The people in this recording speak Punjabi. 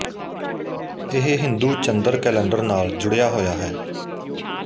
ਇਹ ਹਿੰਦੂ ਚੰਦਰ ਕੈਲੰਡਰ ਨਾਲ ਜੁੜਿਆ ਹੋਇਆ ਹੈ